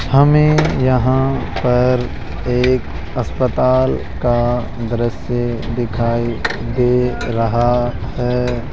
हमें यहां पर एक अस्पताल का दृश्य दिखाई दे रहा है।